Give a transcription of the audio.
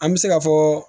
An bɛ se ka fɔ